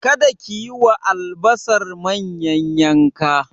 Kada ki yi wa albasar manyan yanka!